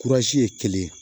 ye kelen ye